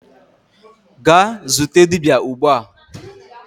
gaa zute dibia ugbua!